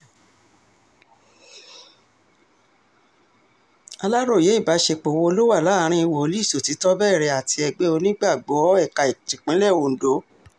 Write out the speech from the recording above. aláròye ìbáṣepọ̀ wo ló wà láàrin wòlíì sọ́tìtọrẹbẹrẹ àti ẹgbẹ́ onígbàgbọ́ ẹ̀ka tipińlẹ̀ ondo